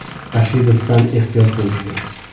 Rashidovdan ehtiyot bo‘lish kerak.